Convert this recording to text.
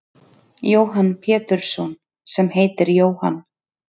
Jóhann Pétursson sem heiti Jóhann.